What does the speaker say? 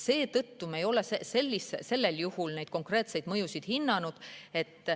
Seetõttu me ei ole sellel juhul neid konkreetseid mõjusid hinnanud.